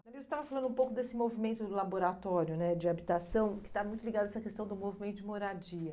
Você estava falando um pouco desse movimento laboratório né de habitação que está muito ligado a essa questão do movimento de moradia.